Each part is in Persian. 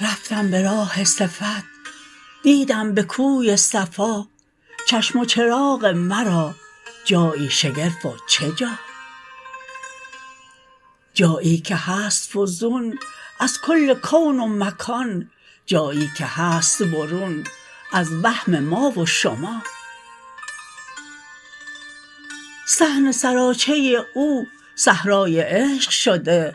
رفتم به راه صفت دیدم به کوی صفا چشم و چراغ مرا جایی شگرف و چه جا جایی که هست فزون از کل کون و مکان جایی که هست برون از وهم ما و شما صحن سراچه او صحرای عشق شده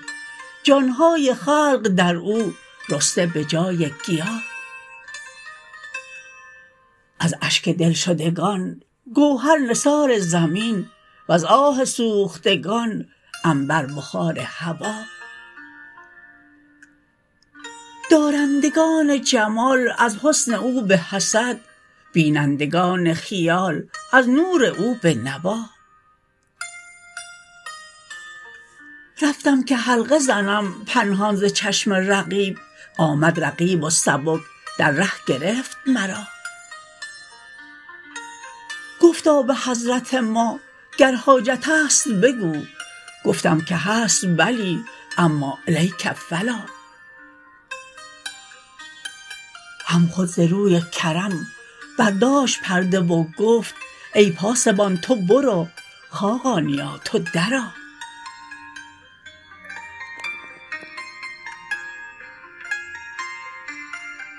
جان های خلق در او رسته به جای گیا از اشک دلشدگان گوهر نثار زمین وز آه سوختگان عنبر بخار هوا دارندگان جمال از حسن او به حسد بینندگان خیال از نور او به نوا رفتم که حلقه زنم پنهان ز چشم رقیب آمد رقیب و سبک در ره گرفت مرا گفتا به حضرت ما گر حاجت است بگو گفتم که هست بلی اما الیک فلا هم خود ز روی کرم برداشت پرده و گفت ای پاسبان تو برو خاقانیا تو درا